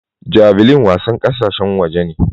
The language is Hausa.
Javelin wasar kasashen waje ne.